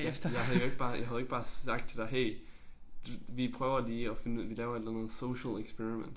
Jeg jeg havde jo ikke bare jeg havde jo ikke bare sagt til dig hey vi prøver lige at finde ud vi laver et eller andet social experiment